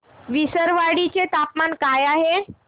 विसरवाडी चे तापमान काय आहे